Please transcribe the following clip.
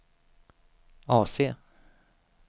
AC